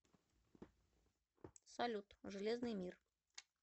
салют железный мир